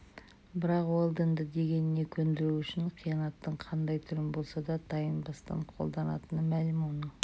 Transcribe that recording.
бірақ уэлдонды дегеніне көндіру үшін қиянаттың қандай түрін болса да тайынбастан қолданатыны мәлім оның